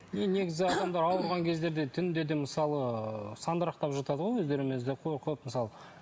енді негізі адамдар ауырған кездерде түнде де мысалы сандырақтап жатады ғой өздерімен өздері қорқып мысалы